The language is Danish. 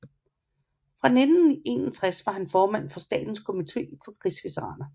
Fra 1961 var han formand for Statens komite for Krigsveteraner